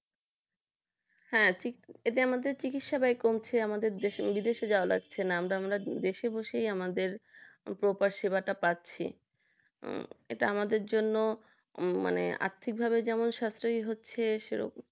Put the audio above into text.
হ্যাঁ ঠিক আমাদের চিকিৎসা ব্যয় কমছে আমাদের বিদেশে যাওয়া লাগছে না আমরা দেশে বসে আমাদের পুরো সেবা টা পাচ্ছি। এটা আমাদের জন্য আর্থিকভাবে যেমন স্বাস্থ্যই হচ্ছে সেরকম